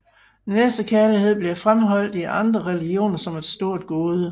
Næstekærlighed bliver fremholdt i andre religioner som et stort gode